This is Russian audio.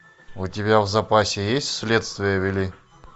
у тебя в запасе есть следствие вели